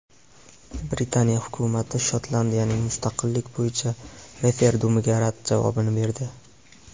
Britaniya hukumati Shotlandiyaning mustaqillik bo‘yicha referendumiga rad javobini berdi.